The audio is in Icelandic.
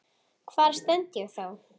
Hvar stend ég þá?